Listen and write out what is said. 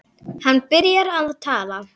Hann byrjar að tala.